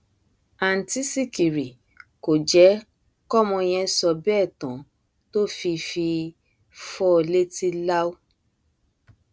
àǹtí sìkìrì kò jẹ kọmọ yẹn sọ bẹẹ tán tó fi fi fọ ọ létí láú